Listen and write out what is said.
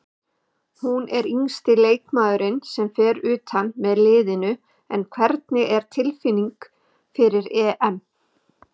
Hún er yngsti leikmaðurinn sem fer utan með liðinu en hvernig er tilfinningin fyrir EM?